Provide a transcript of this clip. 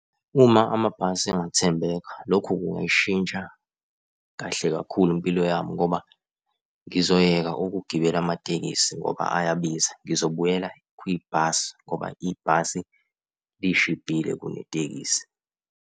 Uma amabhasi engathembeka, lokhu kungayishintsha kahle kakhulu impilo yami ngoba ngizoyeka ukugibela amatekisi ngoba ayabiza. Ngizobuyela kwibhasi ngoba ibhasi lishibhile kunetekisi.